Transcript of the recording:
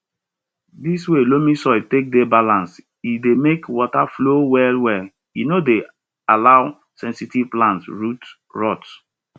di way loamy soil take dey balanced e dey make water flow well welle no dey allow sensitive plants root rot